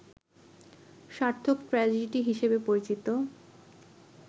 সার্থক ট্রাজেডি হিসেবে পরিচিত